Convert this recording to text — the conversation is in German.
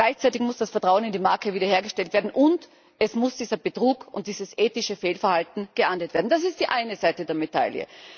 Gleichzeitig muss das Vertrauen in die Marke wiederhergestellt werden, und dieser Betrug und dieses ethische Fehlverhalten muss geahndet werden. Das ist die eine Seite der Medaille.